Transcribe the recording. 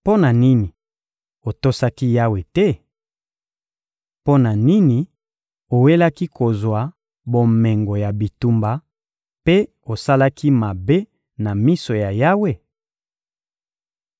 Mpo na nini otosaki Yawe te? Mpo na nini owelaki kozwa bomengo ya bitumba, mpe osalaki mabe na miso ya Yawe?